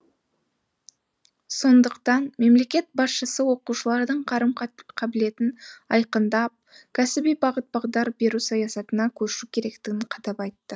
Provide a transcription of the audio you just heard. сондықтан мемлекет басшысы оқушылардың қарым қабілетін айқындап кәсіби бағыт бағдар беру саясатына көшу керектігін қадап айтты